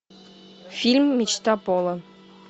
фильм мечта пола